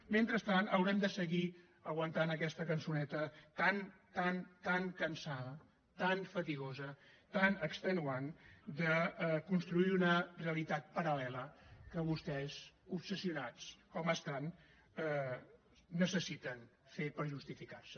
mentrestant haurem de seguir aguantant aquesta cançoneta tan tan tan cansada tan fatigosa tan extenuant de construir una realitat paral·lela que vostès obsessionats com estan necessiten fer per justificar se